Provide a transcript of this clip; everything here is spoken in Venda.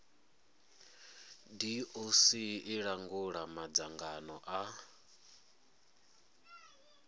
doc i langula madzangano a